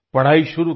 पढाई शुरू की